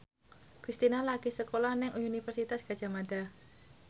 Kristina lagi sekolah nang Universitas Gadjah Mada